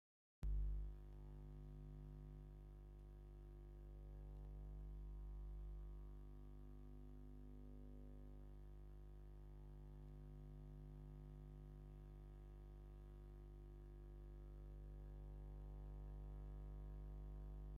ኣብ ስሩዕ ዕንጨይቲ ጠረጴዛ ዓቢ ጥርሙዝ ይርአ። እቲ ጥርሙዝ ንጹርን ቀይሕ ቆቢዕ ዘለዎን እዩ። ኣብቲ ጥርሙዝ ቀጠልያ ምልክትን ጽሑፍን ኣሎ፡ "ሓጎስ" ዝብል ጽሑፍ ኣሎ። እቲ ኣብ ስእሊ ዘሎ ጥርሙዝ እንታይ ዓይነት ነገር ኣለዎ?